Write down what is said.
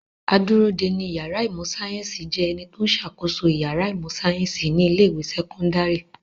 Adúródeni ìyàrá ìmọ̀-sáyẹ́ńsì jẹ́ ẹni tó ń ṣàkóso ìyàrá ìmọ̀-sáyẹ́ńsì ní ilé-ìwé sẹ́kọ́ndárì.